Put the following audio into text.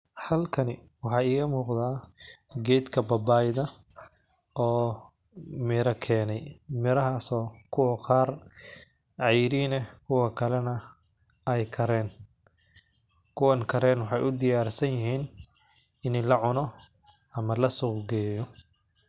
Halkani waxaay iyo muuqda ah geedka babaayada oo meera keenee. Meeraha asoo ku qaar cayiriina kuwa kalena ay karayn. Kuwan karayn waxay u diyaar sanyiheen inay la cuno ama la suuq geeyo.